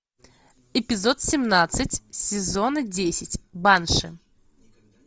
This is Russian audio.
эпизод семнадцать сезона десять банши